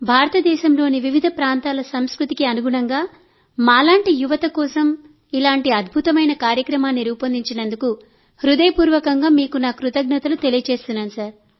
భారతదేశంలోని వివిధ ప్రాంతాల సంస్కృతికి అనుగుణంగా మాలాంటి యువత కోసం ఇలాంటి అద్భుతమైన కార్యక్రమాన్ని రూపొందించినందుకు హృదయపూర్వకంగా మీకు నా కృతజ్ఞతలు తెలియజేస్తున్నాను